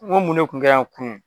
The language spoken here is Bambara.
N ko mun de tun kɛra yan kunun?